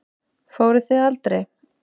Fóruð þið aldrei?